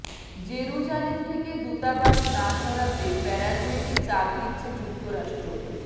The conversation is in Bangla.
জেরুজালেম থেকে দূতাবাস না সরাতে প্যারাগুয়েকে চাপ দিচ্ছে যুক্তরাষ্ট্র